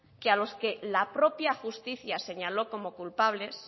que a los que la propia justicia señaló como culpables